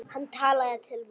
Hann talaði til mín.